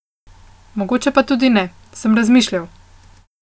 Mogoče pa tudi ne, sem razmišljal.